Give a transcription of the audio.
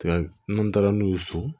taara n'u ye so